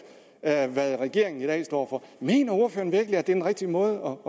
af hvad regeringen i dag står for mener ordføreren virkelig at den rigtige måde